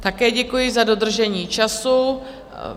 Také děkuji za dodržení času.